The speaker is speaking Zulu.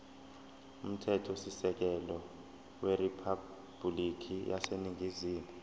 umthethosisekelo weriphabhulikhi yaseningizimu